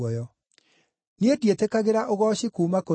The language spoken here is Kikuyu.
“Niĩ ndiĩtĩkagĩra ũgooci kuuma kũrĩ andũ,